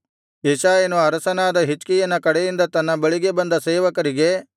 ಯೆಶಾಯನು ಅರಸನಾದ ಹಿಜ್ಕೀಯನ ಕಡೆಯಿಂದ ತನ್ನ ಬಳಿಗೆ ಬಂದ ಸೇವಕರಿಗೆ